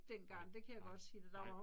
Nej, nej nej